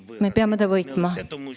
Me peame võitma!